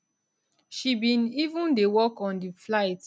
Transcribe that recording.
she bin even dey work on di flight